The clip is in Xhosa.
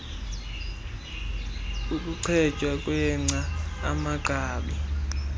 ukuchetywa kwengca amagqabi